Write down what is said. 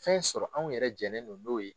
Fɛn sɔrɔ anw yɛrɛ jɛnen do n'o ye